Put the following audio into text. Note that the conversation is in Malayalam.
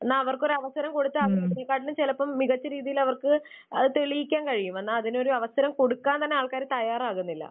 എന്നാൽ അവർക്ക് ഒരു അവസരം കൊടുത്താൽ അവർ അതിനേക്കാളും ചിലപ്പോ മികച്ച രീതിയിൽ അവർക്ക് അത് തെളിയിക്കാൻ കഴിയും. എന്നാൽ അതിനൊരു അവസരം കൊടുക്കാൻ തന്നെ ആൾക്കാർ തയ്യാറാകുന്നില്ല.